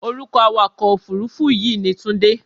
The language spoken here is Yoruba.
Orúkọ awakọ̀-òfuurufú yìí ni Tunde.